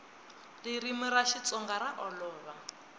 ririmi ra xitsonga ra olova